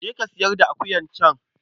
Je ka sayar da akuyar can.